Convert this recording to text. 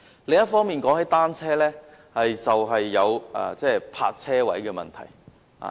另一方面，說到單車，便會有泊車位的問題。